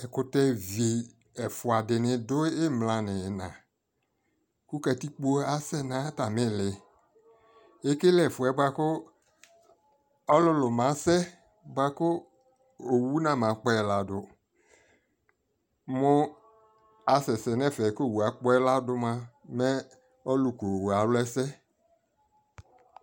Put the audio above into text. ɛkʋtɛ vii ɛƒʋa dini dʋ imla nʋ ina kʋ katikpɔ asɛ nʋ atami ili, ɛkɛlɛ ɛƒʋɛ bʋakʋ ɔlʋlʋ masɛ bʋakʋ ɔwʋ na ma kpɛi ladʋ, mʋ asɛsɛ nɛ ɛƒɛ kʋ ɔwʋ akpɔɛ ladʋ mʋa mɛ ɔlʋ kʋ ɔwʋɛ alʋ ɛsɛ